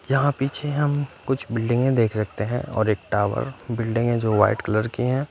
यहाँ पीछे हम कुछ बिल्डिंगे देख सकते हैं और एक टावर बिल्डिंगे जो वाइट कलर की है।